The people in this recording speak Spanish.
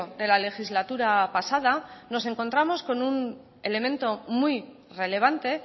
de la legislatura pasada nos encontramos con un elemento muy relevante